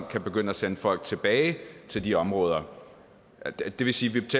kan begynde at sende folk tilbage til de områder det vil sige